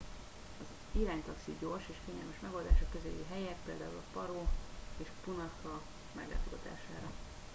az iránytaxi gyors és kényelmes megoldás a közeli helyek - például a paro nu 150 és punakha nu 200 - meglátogatására